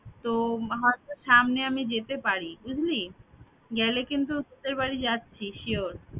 তো হয়তো সামনে আমি যেতে পারি বুঝলি গেলে কিন্তু তোদের বাড়ি যাচ্ছি sure